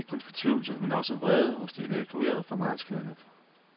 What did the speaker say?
Der er ikke kun fortvivlelse, men også vrede hos de evakuerede fra marsklandet.